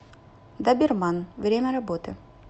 доберман время работы